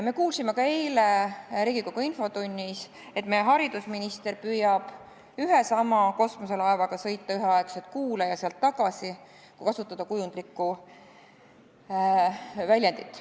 Me kuulsime ka eile Riigikogu infotunnis, et meie haridusminister püüab ühe ja sama kosmoselaevaga sõita üheaegselt Kuule ja sealt tagasi, kui kasutada kujundlikku väljendit.